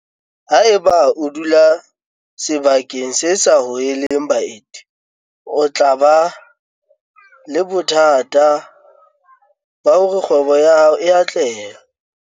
Haeba o dula sebakeng se sa hoheleng baeti o tla ba le bothata ba hore kgwebo ya hao e atlehe.